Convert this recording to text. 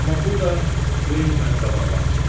Amma burda Kleyin məni qabaqlamışdı.